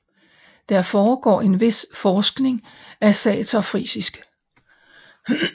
Der foregår en vis forskning af saterfrisisk